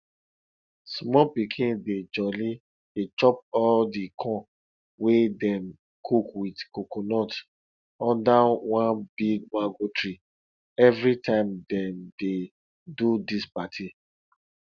small pikin dey jolly dey chop all di corn wey dem cook with coconut under one big mango tree everytime dem dey do dis party